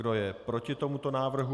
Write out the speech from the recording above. Kdo je proti tomuto návrhu?